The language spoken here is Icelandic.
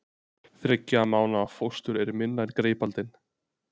Þriggja mánaða fóstur er minna en greipaldin.